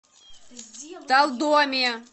талдоме